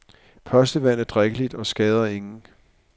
Postevand er drikkeligt og skader ingen.